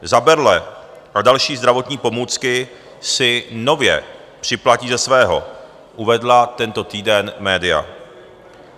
Za berle a další zdravotní pomůcky si nově připlatí ze svého, uvedla tento týden média.